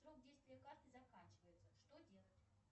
срок действия карты заканчивается что делать